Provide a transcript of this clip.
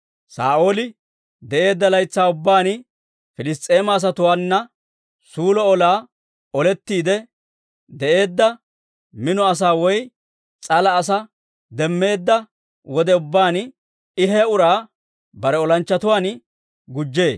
Saa'ooli de'eedda laytsaa ubbaan Piliss's'eema asatuwaana suulo olaa olettiide de'eedda. Mino asaa woy s'ala asaa demmeedda wode ubbaan, I he uraa bare olanchchatuwaan gujjee.